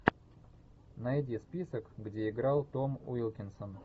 найди список где играл том уилкинсон